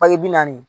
Paki bi naani